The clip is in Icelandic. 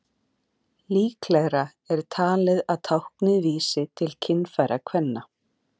Líklegra er talið að táknið vísi til kynfæra kvenna.